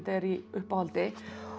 er í uppáhaldi